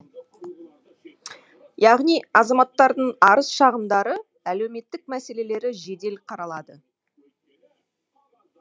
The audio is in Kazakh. яғни азаматтардың арыз шағымдары әлеуметтік мәселелері жедел қаралады